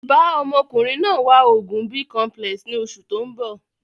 Bàa ọmọkùnrin náà wá oògùn Bicomplex ni oṣù tóun bọ̀